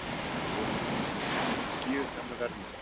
Lára Ómarsdóttir: Hvað skýrir þennan verðmun?